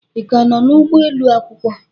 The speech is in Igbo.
Ị ka nọ n'ugbo ụlọ akwụkwọ?